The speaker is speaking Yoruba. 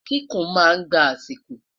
kíkún má ngbà asiko